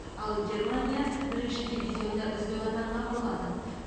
ал германия бірінші дивизионда үздік атанған болатын